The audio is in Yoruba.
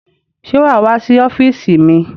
Ṣé wà á wá sí ọ́fíísì mi?